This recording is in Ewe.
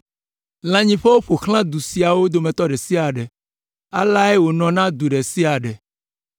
Lãnyiƒewo ƒo xlã du siawo dometɔ ɖe sia ɖe, aleae wònɔ na du ɖe sia ɖe.